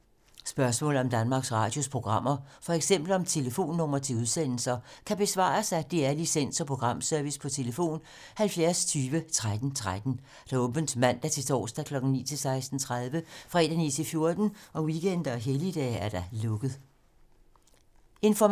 Spørgsmål om Danmarks Radios programmer, f.eks. om telefonnumre til udsendelser, kan besvares af DR Licens- og Programservice: tlf. 70 20 13 13, åbent mandag-torsdag 9.00-16.30, fredag 9.00-14.00, weekender og helligdage: lukket.